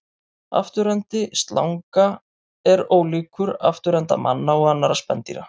Afturendi slanga er ólíkur afturenda manna og annarra spendýra.